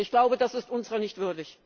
Ich glaube, das ist unser nicht würdig.